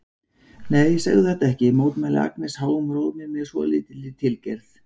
Nei, segðu þetta ekki, mótmælir Agnes háum rómi með svolítilli tilgerð.